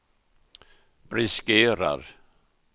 riskerar